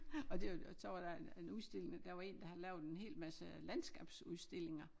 Og det og så var der en en udstilling og der var en der havde lavet en hel masse landskabsudstillinger